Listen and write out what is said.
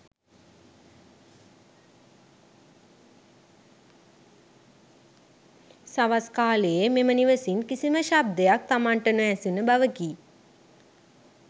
සවස් කාලයේ මෙම නිවසින් කිසිම ශබ්දයක් තමන්ට නොඇසුන බවකි.